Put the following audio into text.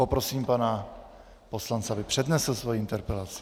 Poprosím pana poslance, aby přednesl svoji interpelaci.